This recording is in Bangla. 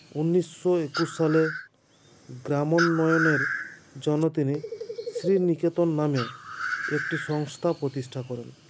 উনিশো একুস সালে গ্রামোন্নয়নের জন্য তিনি শ্রীনিকেতন নামে একটি সংস্থা প্রতিষ্ঠা করেন